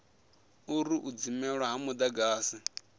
uri u dzimelwa ha mudagasi